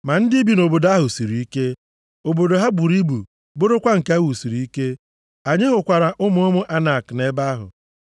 Ma ndị bi nʼobodo ahụ siri ike. Obodo ha buru ibu bụrụkwa nke e wusiri ike. Anyị hụkwara ụmụ ụmụ Anak nʼebe ahụ.